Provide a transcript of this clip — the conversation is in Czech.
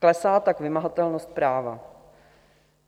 Klesá tak vymahatelnost práva.